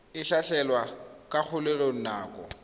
a tlhatlhelwa kwa kgolegelong nako